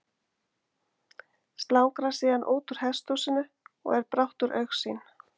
slangrar síðan útúr hesthúsinu og er brátt úr augsýn